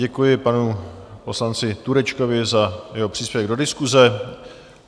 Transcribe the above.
Děkuji panu poslanci Turečkovi za jeho příspěvek do diskuse.